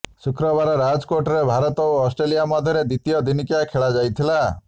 ଶୁକ୍ରବାର ରାଜକୋଟରେ ଭାରତ ଓ ଅଷ୍ଟ୍ରେଲିଆ ମଧ୍ୟରେ ଦ୍ୱିତୀୟ ଦିନିକିଆ ଖେଳାଯାଇଥିଲା